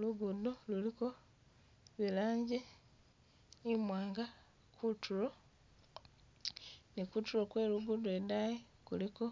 Lugudo luliko ilanji imwanga, kutulo ni kutulo kwelugudo lwedayi luliko